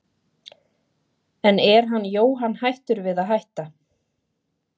En er Jóhann hættur við að hætta?